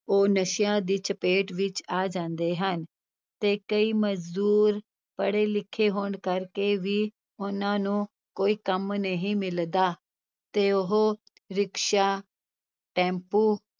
ਉਹ ਨਸ਼ਿਆਂ ਦੀ ਚਪੇਟ ਵਿੱਚ ਆ ਜਾਂਦੇ ਹਨ, ਤੇ ਕਈ ਮਜ਼ਦੂਰ ਪੜ੍ਹੇ ਲਿਖੇ ਹੋਣ ਕਰਕੇ ਵੀ ਉਹਨਾਂ ਨੂੰ ਕੋਈ ਕੰਮ ਨਹੀਂ ਮਿਲਦਾ, ਤੇ ਉਹ ਰਿਕਸ਼ਾ, ਟੈਂਪੂ